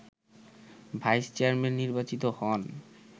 vice chairman নির্বাচিত হন